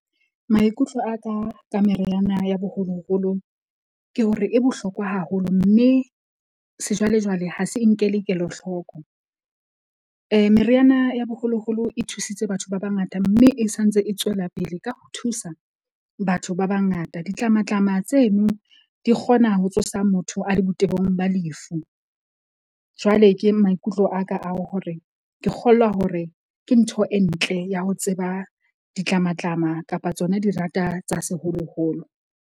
Maikutlo aka ka meriana ya boholoholo ke hore e bohlokwa haholo, mme sejwalejwale ha se e nkele kelahloko. Meriana ya boholoholo e thusitse batho ba bangata. Mme e santse e tswela pele ka ho thusa batho ba bangata. Ditlamatlama tseno di kgona ho tsosa motho a le botebong ba lefu. Jwale ke maikutlo aka ao hore ke kgolwa hore ke ntho e ntle ya ho tseba ditlamatlama kapa tsona di rata tsa seholoholo.